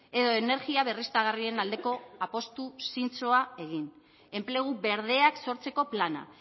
edo energia berriztagarrien aldeko apustu zintzoa egin enplegu berdeak sortzeko plana